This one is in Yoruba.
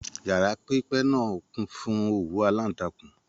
Yàrá pipẹ náà kún fún òwú alantakun